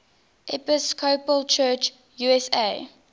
episcopal church usa